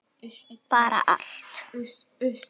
Bara allt.